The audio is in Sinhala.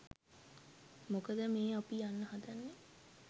මොකද මේ අපි යන්න හදන්නේ